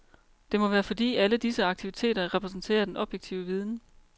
Det må være fordi alle disse aktiviteter repræsenterer den objektive viden.